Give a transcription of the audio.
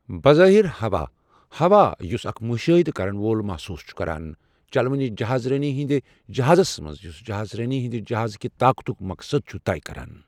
بظٲہِر ہوا، ہوا یُس اکھ مُشٲہِدٕ کَرن وول محسوٗس چھُ کران چلوٕنہِ جہاز رٲنی ہِنٛدِ جہازس منٛز یُس جہاز رٲنی ہٕنٛدِ جہازٕ کہ طاقتُک مقصد چھُ طے کران۔